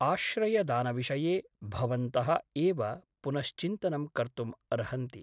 आश्रयदानविषये भवन्तः एव पुनश्चिन्तनं कर्तुम् अर्हन्ति ।